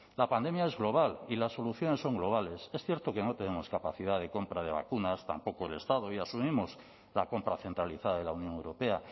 la pandemia es global y las soluciones son globales es cierto que no tenemos capacidad de compra de vacunas tampoco el estado y asumimos la compra centralizada de la unión europea